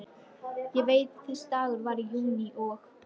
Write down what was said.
Ég veit að þessi dagur var í júlí og